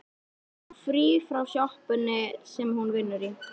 Hún á frí frá sjoppunni sem hún vinnur í.